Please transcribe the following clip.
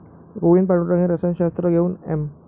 गोविंद पांडुरंग हे रसायनशास्त्र घेऊन एम.